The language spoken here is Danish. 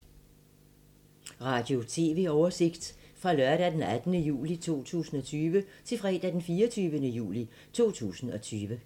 Radio/TV oversigt fra lørdag d. 18. juli 2020 til fredag d. 24. juli 2020